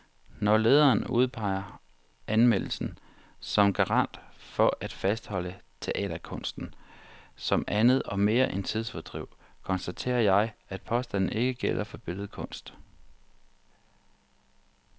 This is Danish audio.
Når lederen udpeger anmelderen som garant for at fastholde teaterkunsten som andet og mere end tidsfordriv, konstaterer jeg, at påstanden ikke gælder for billedkunst.